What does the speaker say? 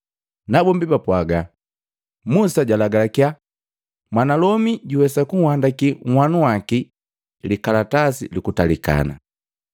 Nabombi bapwagaa, “Musa jalagalakya mwanalomi juwesa kunhandakii nhanuwaki likalatasi lukutalikana.”